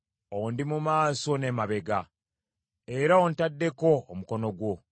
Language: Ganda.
Ondi mu maaso n’emabega, era ontaddeko omukono gwo.